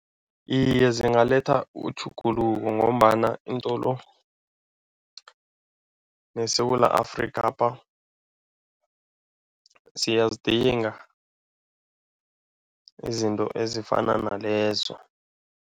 Iye, zingalethwa utjhuguluko ngombana iintolo neSewula Afrikapha siyazidinga izinto ezifana nalezo.